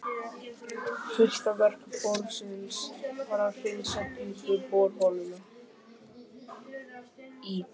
Fyrsta verk borsins var að hreinsa djúpu borholuna í